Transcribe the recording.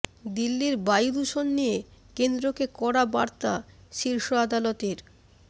দিল্লির বায়ু দূষণ নিয়ে কেন্দ্রকে কড়া বার্তা শীর্ষ আদালতের